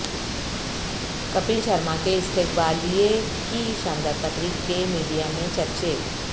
کپل شرما کے استقبالیے کی شاندار تقریب کے میڈیا میں چرچے